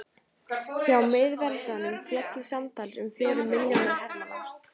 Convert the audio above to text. hjá miðveldunum féllu samtals um fjórir milljónir hermanna